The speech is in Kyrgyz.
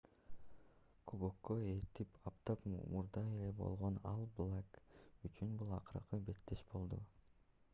кубокко эки апта мурда ээ болгон all blacks үчүн бул акыркы беттеш болду